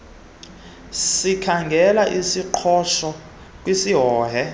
sikhangele isingqisho kwisihohe